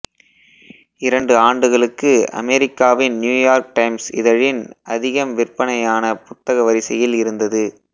இரண்டு ஆண்டுகளுக்கு அமெரிக்காவின் நியூயார்க் டைம்ஸ் இதழின் அதிகம் விற்பனை ஆன புத்தக வரிசையில் இருந்தது